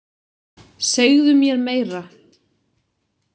Segðu mér meira.